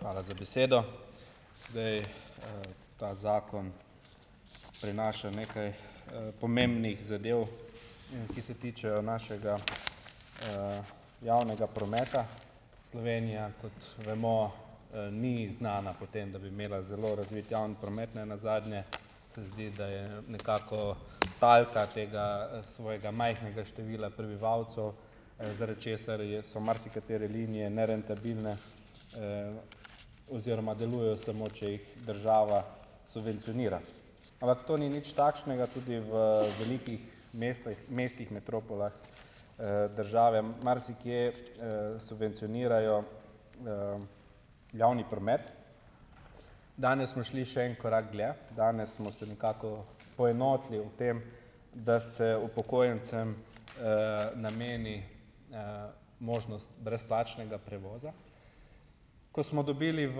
Hvala za besedo. Zdaj, ta zakon prinaša nekaj, pomembnih zadev in ki se tičejo našega, javnega prometa Slovenija, kot vemo, ni znana po tem, da bi imela zelo razvit javni promet nenazadnje, se zdi, da je nekako talka tega, svojega majhnega števila prebivalcev, zaradi česar je so marsikatere linije nerentabilne, oziroma delujejo samo, če jih država subvencionira, ampak to ni nič takšnega, tudi v velikih mestojh mestih metropolah države marsikje, subvencionirajo, javni promet, danes smo šli še en korak dlje, danes smo se nekako poenotili o tem, da se upokojencem, nameni možnost brezplačnega prevoza, ko smo dobili v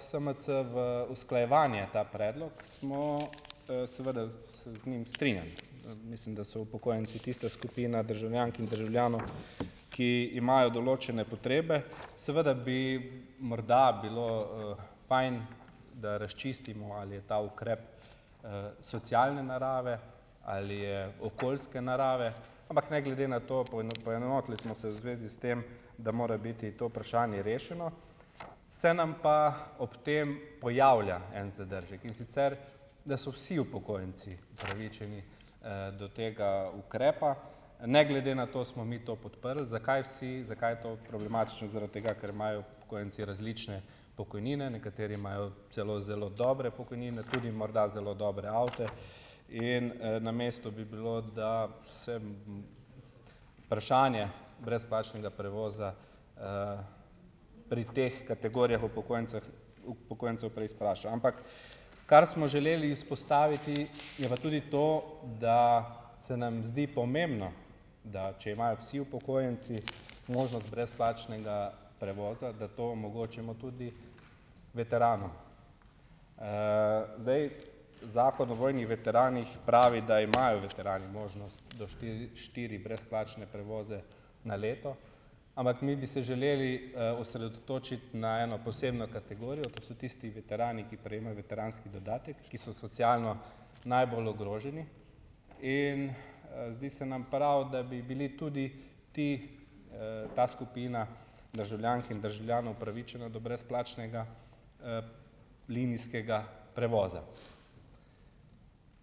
SMC v usklajevanje ta predlog, smo, seveda se z njim strinjam, mislim, da so upokojenci tista skupina državljank in državljanov, ki imajo določene potrebe, seveda bi morda bilo, fajn, da razčistimo, ali je ta ukrep, socialne narave ali je okoljske narave, ampak ne glede na to, poenotili smo se v zvezi s tem, da mora biti to vprašanje rešeno, se nam pa ob tem pojavlja en zadržek, in sicer da so vsi upokojenci upravičeni, do tega ukrepa, ne glede na to smo mi to podprli, zakaj vsi zakaj je to problematično, zaradi tega ker imajo upokojenci različne pokojnine, nekateri imajo celo zelo dobre pokojnine, tudi morda zelo dobre avte, in, na mestu bi bilo, da vsem vprašanje brezplačnega prevoza, pri teh kategorijah upokojenceh upokojencev prej izpraša, ampak kar smo želeli izpostaviti, je pa tudi to, da se nam zdi pomembno, da če imajo vsi upokojenci možnost brezplačnega prevoza, da to omogočimo tudi veteranom, zdaj, zakon o vojnih veteranih pravi, da imajo veterani možnost do štiri brezplačne prevoze na leto, ampak mi bi se želeli, osredotočiti na eno posebno kategorijo, to so tisti veterani, ki prejemajo veteranski dodatek, ki so socialno najbolj ogroženi, in, zdi se nam prav, da bi bili tudi ti, ta skupina državljank in državljanov upravičena do brezplačnega, linijskega prevoza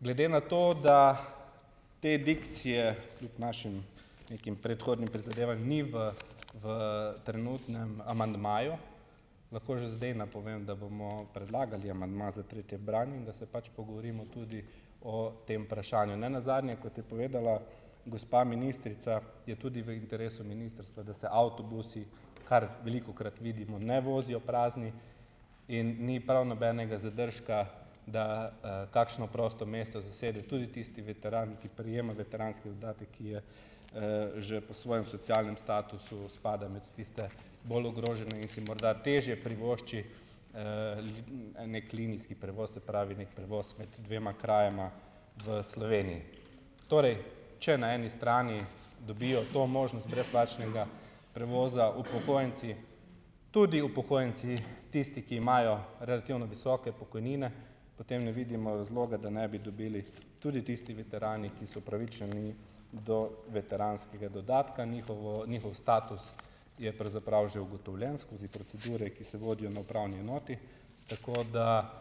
glede na to, da te dikcije kljub našim nekim predhodnim prizadevanjem ni v v trenutnem amandmaju, lahko že zdaj napovem, da bomo predlagali amandma za tretje branje in da se pač pogovorimo tudi o tem vprašanju, nenazadnje, kot je povedala gospa ministrica, je tudi v interesu ministrstva, da se avtobusi, kar velikokrat vidimo, ne vozijo prazni, in ni prav nobenega zadržka, da, kakšno prosto mesto zasede tudi tisti veteran, ki prejema veteranski dodatek, ki je, že po svojem socialnem statusu spada med tiste bolj ogrožene in si morda težje privošči, neki linijski prevoz, se pravi, neki prevoz med dvema krajema v Sloveniji, torej če na eni strani dobijo to možnost brezplačnega prevoza upokojenci, tudi upokojenci, tisti, ki imajo relativno visoke pokojnine, potem ne vidimo razloga, da ne bi dobili tudi tisti veterani, ki so upravičeni do veteranskega dodatka, njihov njihov status je pravzaprav že ugotovljen skozi procedure, ki se vodijo na upravni enoti, tako da,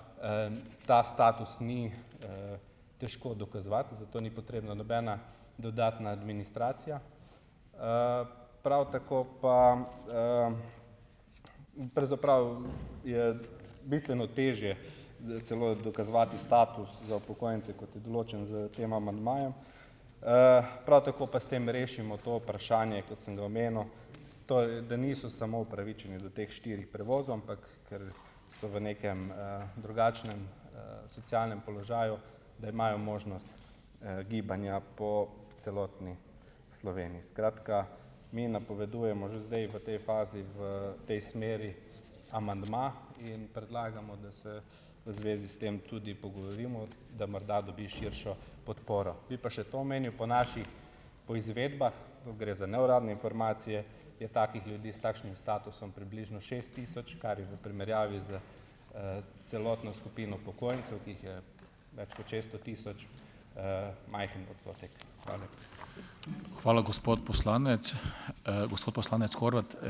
ta status ni, težko dokazovati, zato ni potrebna nobena dodatna administracija, prav tako pa, pravzaprav je bistveno težje celo dokazovati status za upokojence, kot je določen s tem amandmajem, prav tako pa s tem rešimo to vprašanje, kot sem ga omenil, torej da niso samo upravičeni do teh štirih prevozov, ampak kar so v nekem, drugačnem, socialnem položaju, da imajo možnost, gibanja po celotni Sloveniji, skratka, mi napovedujemo že zdaj v tej fazi v tej smeri amandma in predlagamo, da se v zvezi s tem tudi pogovorimo, da morda dobi širšo podporo, bi pa še to omenil po naših poizvedbah, gre za neuradne informacije, je takih ljudi s takšnim statusom približno šest tisoč, kar je v primerjavi s, celotno skupino upokojencev, ki jih je več kot šeststo tisoč, majhen odstotek, hvala lepa.